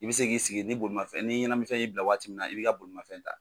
I bɛ se k'i sigi ni bolimafɛn ni ɲanaminfɛ y'i bila waati min na i b'i ka bolimafɛn ta